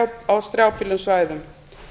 á strjálbýlum svæðum